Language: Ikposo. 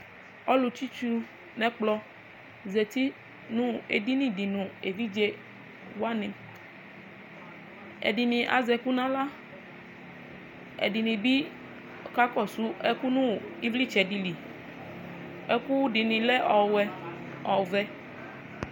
ɔlʋ tsitsu nʋ ɛkplɔ zati nʋ ɛdini di nʋ ɛvidzɛ wani, ɛdini azɛɛkʋ nʋ ala, ɛdini bi akakɔsʋ ɛsɛ nʋ ivlitsɛ dili, ɛkʋ dini lɛ ɔvɛ